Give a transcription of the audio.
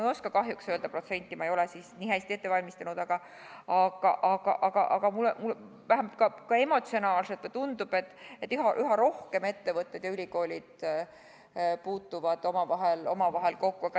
Ei oska kahjuks öelda protsenti, ma ei ole nii hästi ette valmistanud, aga vähemalt emotsionaalselt mulle tundub, et ettevõtted ja ülikoolid puutuvad üha rohkem omavahel kokku.